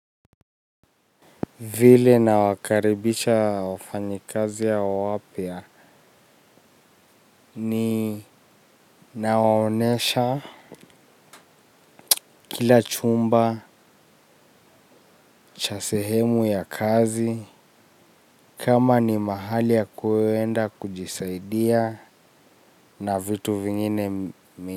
Vile na wakaribisha wafanyi kaziya wapia ni naonesha. Kila chumba cha sehemu ya kazi kama ni mahali ya kuewenda kujisaidia na vitu vingine mi.